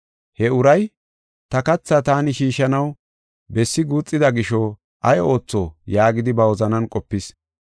He uray, ‘Ta katha taani shiishanaw bessi guuxida gisho ay ootho?’ yaagidi ba wozanan qopis.